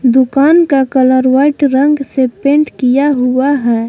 दुकान का colour white रंग से पेंट किया हुआ है।